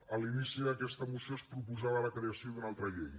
a l’inici d’aquesta moció es proposava la creació d’una altra llei